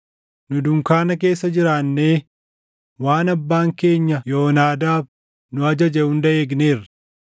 Nu dunkaana keessa jiraannee waan abbaan keenya Yoonaadaab nu ajaje hunda eegneerra.